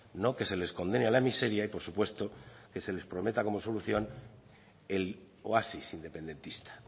no que se les condene a la miseria y por supuesto que se les prometa como solución el oasis independentista